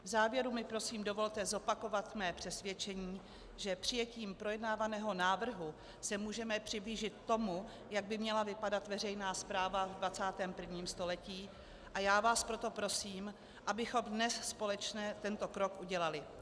V závěru mi prosím dovolte zopakovat své přesvědčení, že přijetím projednávaného návrhu se můžeme přiblížit tomu, jak by měla vypadat veřejná správa v 21. století, a já vás proto prosím, abychom dnes společně tento krok udělali.